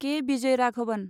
के. Vijayaraghavan